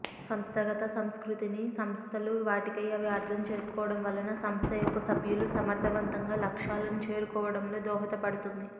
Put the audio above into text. సంస్థాగత సంస్కృతిని సంస్థలు వాటికై అవి అర్థం చేసుకొనటం వలన సంస్థ యొక్క సభ్యులు సమర్థవంతంగా లక్ష్యాలని చేరుకోవటంలో దోహదపడుతుంది